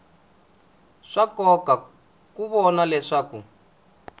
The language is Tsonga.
swa nkoka ku vona leswaku